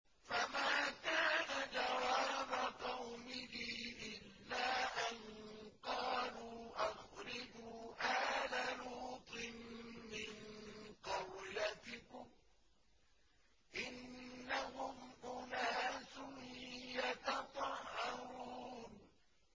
۞ فَمَا كَانَ جَوَابَ قَوْمِهِ إِلَّا أَن قَالُوا أَخْرِجُوا آلَ لُوطٍ مِّن قَرْيَتِكُمْ ۖ إِنَّهُمْ أُنَاسٌ يَتَطَهَّرُونَ